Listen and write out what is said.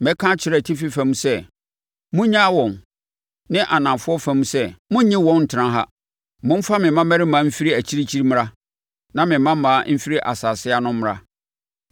Mɛka akyerɛ atifi fam sɛ, ‘Monnyaa wɔn!’ ne anafoɔ fam sɛ, ‘Monnye wɔn ntena ha.’ Momfa me mmammarima mfiri akyirikyiri mmra na me mmammaa mfiri asase ano mmra,